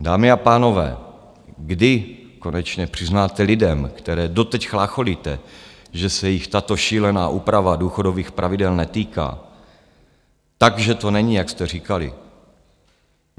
Dámy a pánové, kdy konečně přiznáte lidem, které doteď chlácholíte, že se jich tato šílená úprava důchodových pravidel netýká, tak že to není, jak jste říkali?